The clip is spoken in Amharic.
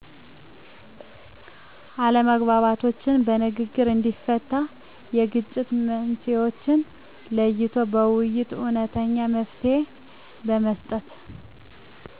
አለመግባባቶችን በንግግር እንዲፈታ የግጭት መንሥኤዎችን ለይቶ በውይይት እውነተኛ መፍትሔ በመስጠት